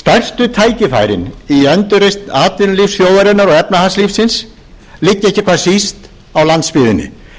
stærstu tækifærin í endurreisn atvinnulífs þjóðarinnar og efnahagslífsins liggja ekki hvað síst á landsbyggðinni í